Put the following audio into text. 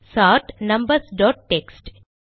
chart numbers dot text